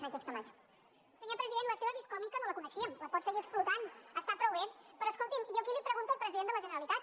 senyor president la seva vis còmica no la coneixíem la pot seguir explotant està prou bé però escolti’m jo aquí li pregunto al president de la generalitat